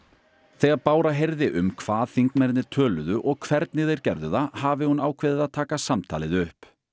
þegar Bára heyrði um hvað þingmennirnir töluðu og hvernig þeir gerðu það hafi hún ákveðið að taka samtalið upp